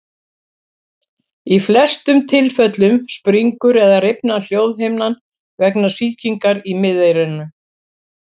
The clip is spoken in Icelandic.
Í flestum tilfellum springur eða rifnar hljóðhimnan vegna sýkingar í miðeyranu.